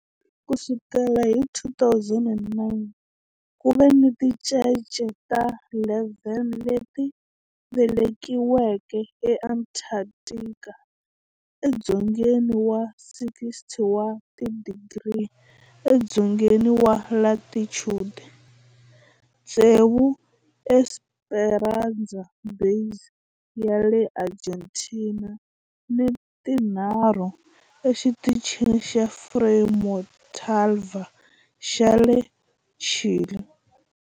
Ku sukela hi 2009, ku ve ni tincece ta 11 leti velekiweke eAntarctica, edzongeni wa 60 wa tidigri edzongeni wa latitude, tsevu eEsperanza Base ya le Argentina ni tinharhu eXitichini xa Frei Montalva xa le Chile.